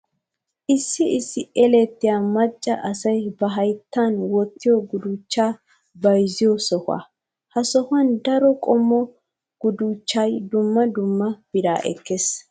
Issi issi elettiyaa macca asayi ba hayittan wottiyoo guduchchaa bayizziyoo sohaa. Ha sohan daro qommo guduchchayi dumma dumma biraa ekkes.